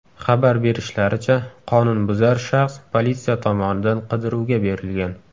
Xabar berishlaricha, qonunbuzar shaxs politsiya tomonidan qidiruvga berilgan.